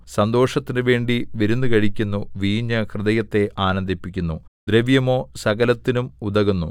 സന്തോഷത്തിനു വേണ്ടി വിരുന്നു കഴിക്കുന്നു വീഞ്ഞ് ഹൃദയത്തെ ആനന്ദിപ്പിക്കുന്നു ദ്രവ്യമോ സകലത്തിനും ഉതകുന്നു